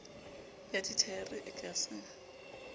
ya dithaere e ka se